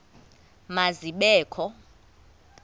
ma zibe kho